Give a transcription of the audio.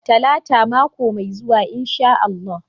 Talata mako mai zuwa insha Allah.